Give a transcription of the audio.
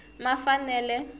mafanele